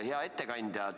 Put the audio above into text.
Hea ettekandja!